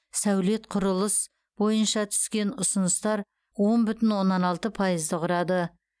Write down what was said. сәулет құрылыс бойынша түскен ұсыныстар он бүтін оннан алты пайызды құрады